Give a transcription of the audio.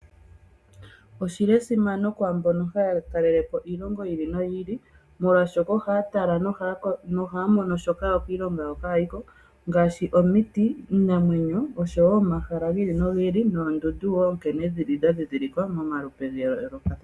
Oshili esimano kwaambono haya talelepo iilongo yiili noyili. Molwashoka oha tala noha mono shoka yo kiilongo yawo kayiko ngaashi omiiti, iinamwenyo, omahala giili nogiili noshowo oondundu nkene dhili dha dhidhilikwa momalupe gayoloka.